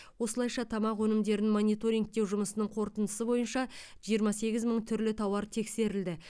осылайша тамақ өнімдерін мониторингтеу жұмысының қорытындысы бойынша жиырма сегіз мың түрлі тауар тексерілді